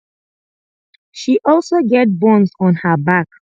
she also get burns on her back